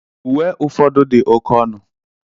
Uwe ụfọdụ dị oke ọnụ.